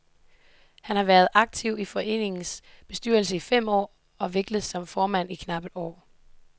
Han har været aktiv i foreningens bestyrelse i fem år og virket som formand i knap et år.